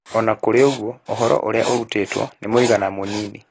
O na kũrĩ ũguo, ũhoro ũrĩa ũrutĩtwo nĩ mũigana mũnini.